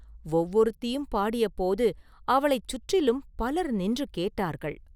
ஒவ்வொருத்தியும் பாடியபோது அவளைச் சுற்றிலும் பலர் நின்று கேட்டார்கள்.